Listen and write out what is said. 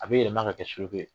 A bɛ yɛlɛma ka kɛ suruku ye.